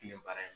Tile baara in